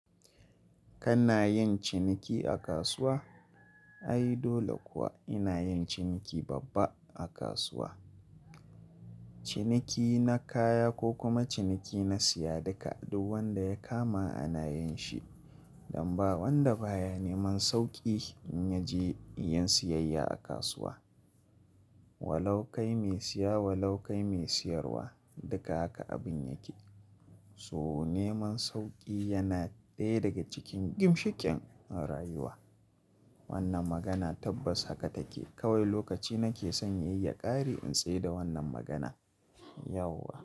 Kana yin ciniki a kasuwa? Ai dole kuwa ina yin ciniki babba a kasuwa. Ciniki na kaya ko kuma ciniki na siya duka duk wanda ya kama ana yin shi. Dan ba wanda baya neman sauƙi in ya je yin siyayya a kasuwa. Walo kai mai siya walo kai mai siyarwa duka haka abun yake. So neman sauƙi yana ɗaya daga cikin ginshiken a rayuwa. Wannan magana tabbas haka take. Kawai lokaci nake son ya yi ya ƙare in tsayar da wannan magana. Yauwa.